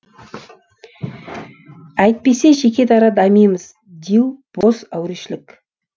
әйтпесе жеке дара дамимыз деу бос әурешілік